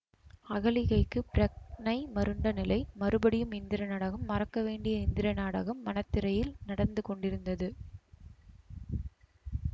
அகலிகைக்கு பிரக்ஞை மருண்ட நிலை மறுபடியும் இந்திர நடகம் மறக்கவேண்டிய இந்திர நாடகம் மனத்திரையில் நடந்து கொண்டிருந்தது